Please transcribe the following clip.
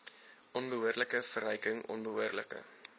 onbehoorlike verryking onbehoorlike